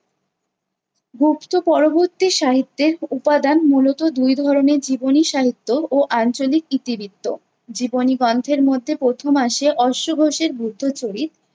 গুপ্ত পরবর্তী সাহিত্যের উপাদান মূলত দুই ধরনের- জীবনী সাহিত্য ও আঞ্চলিক ইতিবৃত্ত। জীবনী গন্থের মধ্যে প্রথম আসে অশ্ব ঘোষের বুদ্ধচরিত।